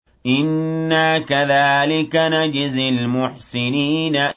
إِنَّا كَذَٰلِكَ نَجْزِي الْمُحْسِنِينَ